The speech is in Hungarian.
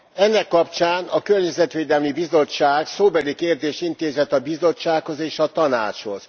Ennek kapcsán a Környezetvédelmi Bizottság szóbeli kérdést intézett a Bizottsághoz és a Tanácshoz.